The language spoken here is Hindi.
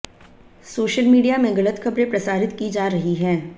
सोशल मीडिया में गलत खबरें प्रसारित की जा रही हैं